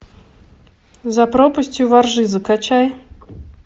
за пропастью во ржи закачай